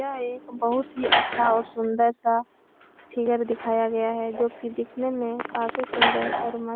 यह एक बोहोत ही अच्छा और सुन्दर सा फिगर दिखाया गया है जो कि दिखने में काफ़ी सुन्दर और मस्त --